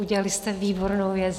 Udělali jste výbornou věc.